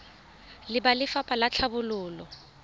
le ba lefapha la tlhabololo